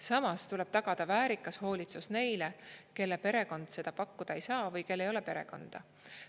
Samas tuleb tagada väärikas hoolitsus neile, kelle perekond seda pakkuda ei saa või kel ei ole perekonda.